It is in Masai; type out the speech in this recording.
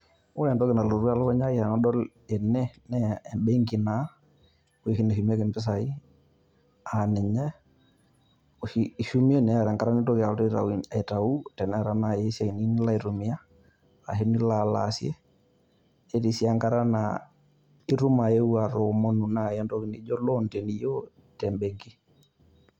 Ore entoki nalotu elukunya ai tenadol ene naa ebenki naa, oshi nashumieki mpisai aa ninye oshi ishumie neeta enkata nintoki alotu aitayu teneeta naaji esiai niyieu nilo aitumia ashu nilo alo aasie. Netii sii nkata naa itum ayeu atoomonu naaji entoki naijo loan teniyieu te ebenki.